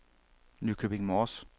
Nykøbing Mors